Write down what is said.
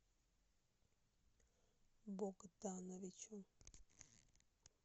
богдановичу